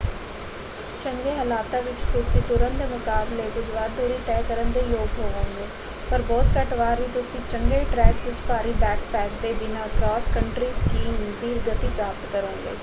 ਚੰਗੇ ਹਾਲਾਤਾਂ ਵਿੱਚ ਤੁਸੀਂ ਤੁਰਣ ਦੇ ਮੁਕਾਬਲੇ ਕੁੱਝ ਵੱਧ ਦੂਰੀ ਤੈਅ ਕਰਨ ਦੇ ਯੋਗ ਹੋਵੋਗੇ - ਪਰ ਬਹੁਤ ਘੱਟ ਵਾਰ ਹੀ ਤੁਸੀਂ ਚੰਗੇ ਟ੍ਰੈਕਸ ਵਿੱਚ ਭਾਰੀ ਬੈਕਪੈਕ ਦੇ ਬਿਨ੍ਹਾ ਕ੍ਰਾਸ ਕੰਟਰੀ ਸਕੀਇੰਗ ਦੀ ਗਤੀ ਪ੍ਰਾਪਤ ਕਰੋਗੇ।